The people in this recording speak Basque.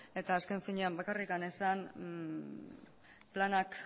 eta azken finean bakarrik esan planak